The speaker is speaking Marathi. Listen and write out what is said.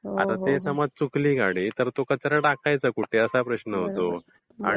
आणि जर टी चुकली गाडी तर कचरा टाकायचा कुठे असा प्रश्न होतो.